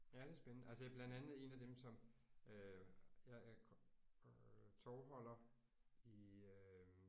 Ja det er spændende altså ja blandt andet en af dem som øh jeg er øh tovholder i øh